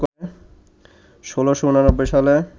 ১৬৮৯ সালে